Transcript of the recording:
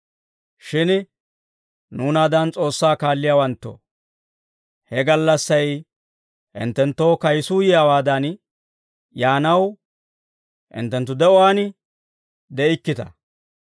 Shin nuunaadan S'oossaa kaalliyaawanttoo, he gallassay hinttenttoo kayisuu yiyaawaadan yaanaw hinttenttu d'umaan de'ikkita.